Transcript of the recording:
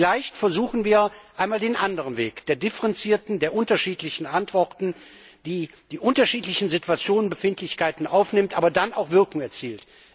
Vielleicht versuchen wir einmal den anderen Weg der differenzierten, der unterschiedlichen Antworten, der die unterschiedlichen Situationsbefindlichkeiten aufnimmt, aber dann auch Wirkung erzielt.